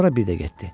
Sonra bir də getdi.